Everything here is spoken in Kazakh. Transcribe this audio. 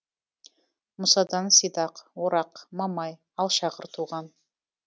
мұсадан сидақ орақ мамай алшағыр туған